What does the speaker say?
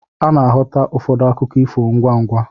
Ana-aghọta ụfọdụ akụkọ ifo ngwá ngwá.